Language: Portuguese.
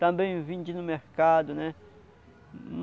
Também vendi no mercado, né?